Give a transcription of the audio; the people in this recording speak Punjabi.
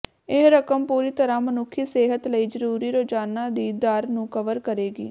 ਇਹ ਰਕਮ ਪੂਰੀ ਤਰ੍ਹਾਂ ਮਨੁੱਖੀ ਸਿਹਤ ਲਈ ਜ਼ਰੂਰੀ ਰੋਜ਼ਾਨਾ ਦੀ ਦਰ ਨੂੰ ਕਵਰ ਕਰੇਗੀ